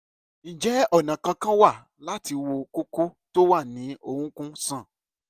ǹjẹ́ ọ̀nà kankan wà láti wo kókó tó wà ní orúnkún sàn?